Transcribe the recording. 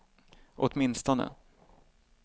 åtminstone